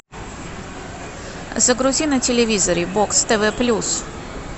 загрузи на телевизоре бокс тв плюс